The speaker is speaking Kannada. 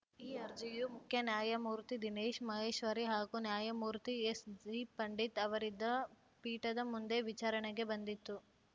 ಈ ಅರ್ಜಿಯು ಮುಖ್ಯ ನ್ಯಾಯಮೂರ್ತಿ ದಿನೇಶ್‌ ಮಹೇಶ್ವರಿ ಹಾಗೂ ನ್ಯಾಯಮೂರ್ತಿ ಎಸ್‌ಜಿಪಂಡಿತ್‌ ಅವರಿದ್ದ ಪೀಠದ ಮುಂದೆ ವಿಚಾರಣೆಗೆ ಬಂದಿತ್ತು